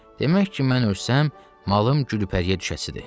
Demək ki, mən ölsəm, malım Gülpəriyə düşəsidir.